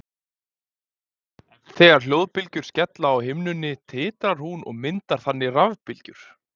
þegar hljóðbylgjur skella á himnunni titrar hún og myndar þannig rafbylgjur